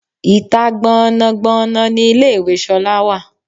Ìta gban-an gban-an ni ilé ìwẹ̀ Sola wà.